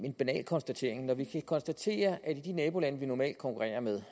en banal konstatering når vi kan konstatere at de nabolande vi normalt konkurrerer med